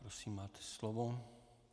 Prosím, máte slovo.